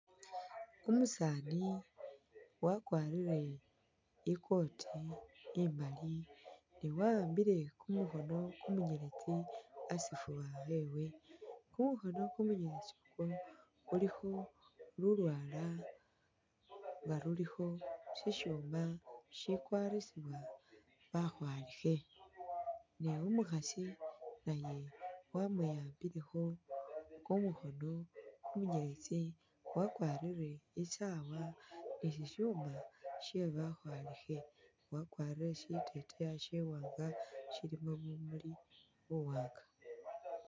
Umusaani wakwarire i'kooti imali nga wa'ambile kumukhono kumunyeletsi asifuba wewe. Kumukhono kumunyeletsi uku khulikho lulwala nga lulikho sisyuma shikwarisibwa bakhwalikhe. Ne umukhasi naye wamwi'ambilekho kumukhono kumunyeletsi wakwarire i'saawa ni sisyuma sye bakhwalikhe, wakwarire shiteteyi shiwaanga shilimo bumuli buwaanga.